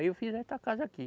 Aí eu fiz esta casa aqui.